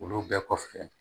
Olu bɛɛ kɔfɛ